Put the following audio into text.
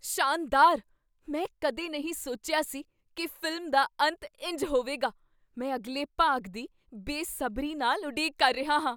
ਸ਼ਾਨਦਾਰ! ਮੈਂ ਕਦੇ ਨਹੀਂ ਸੋਚਿਆ ਸੀ ਕੀ ਫ਼ਿਲਮ ਦਾ ਅੰਤ ਇੰਜ ਹੋਵੇਗਾ। ਮੈਂ ਅਗਲੇ ਭਾਗ ਦੀ ਬੇਸਬਰੀ ਨਾਲ ਉਡੀਕ ਕਰ ਰਿਹਾ ਹਾਂ।